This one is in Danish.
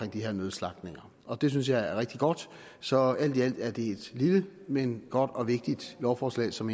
her nødslagtninger det synes jeg er rigtig godt så alt i alt er det et lille men godt og vigtigt lovforslag som